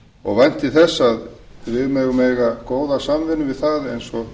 og vænti þess að við megum eiga góða samvinnu